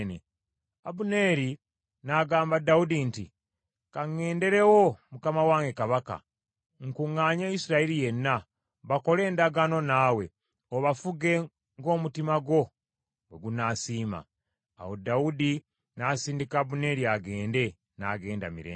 Abuneeri n’agamba Dawudi nti, “Ka ŋŋenderewo mukama wange Kabaka, nkuŋŋaanye Isirayiri yenna, bakole endagaano naawe, obafuge ng’omutima gwo bwe gunaasiima.” Awo Dawudi n’asindika Abuneeri agende, n’agenda mirembe.